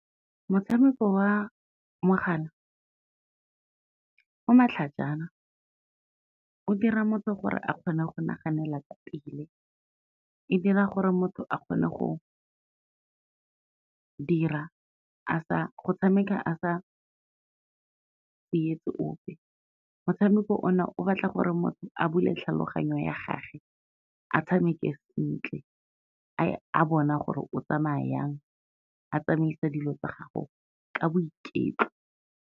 Motshameko wa mogala, o matlhajana o dira motho gore a kgone go naganela ka pele, e dira gore motho a kgone go dira go tshameka a sa tsietse ope. Motshameko o na o batla gore motho a bule tlhaloganyo ya gage, a tshameke sentle a bona gore o tsamaya jang, a tsamaisa dilo tsa gago ka boiketlo.